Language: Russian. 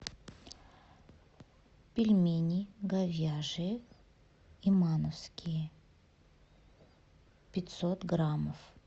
пельмени говяжьи имановские пятьсот граммов